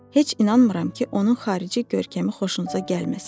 Heç inanmıram ki, onun xarici görkəmi xoşunuza gəlməsin.